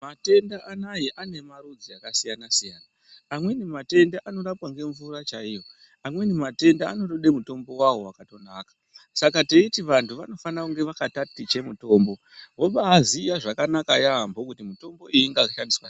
Matenda ayani ane marudzu akasiyana siyana amweni matenda anorapwa nemvura chaiyo matenda anonyda mutombo uwowo wakanaka Saka teiti vana vanofana kutaticha mutombo woziva kuti mutombo unishandiswei.